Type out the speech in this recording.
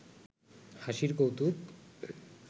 হাসির কৌতুক